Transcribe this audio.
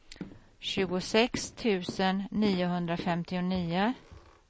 tjugosex tusen niohundrafemtionio